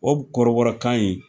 O kɔrɔbɔrɔkan in